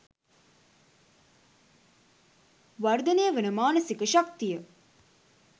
වර්ධනය වන මානසික ශක්තිය